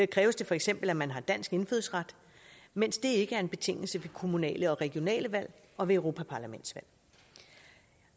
kræves det feks at man har dansk indfødsret mens det ikke er en betingelse ved kommunale og regionale valg og ved europaparlamentsvalg